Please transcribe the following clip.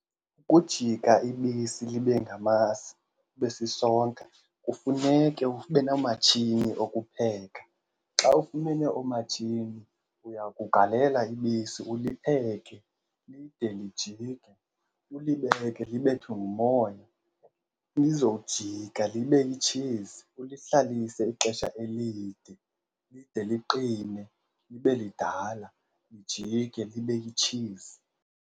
Ukujika ibisi libe ngamasi libe sisonka kufuneke ube noomatshini okupheka. Xa ufumene oomatshini uya kugalela ibisi ulipheke lide lijike, ulibeke libethwe ngumoya, lizojika libe yitshizi. Ulihlalise ixesha elide lide liqine libe lidala lijike libe yitshizi.